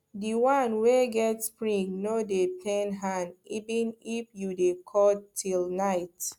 di one wey get spring no dey pain hand even if you dey cut till night